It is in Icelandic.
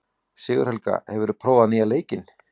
Sigurhelga, hefur þú prófað nýja leikinn?